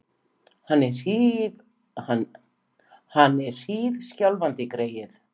Hann er hríðskjálfandi, greyið!